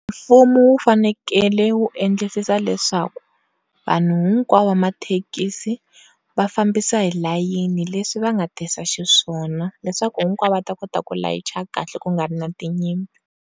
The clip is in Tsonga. Mfumo wu fanekele wu endlisisa leswaku vanhu hinkwavo va mathekisi va fambisa hi layeni leswi va nga tisa xiswona leswaku hinkwavo va ta kota ku layicha kahle ku nga vi na tinyimpi.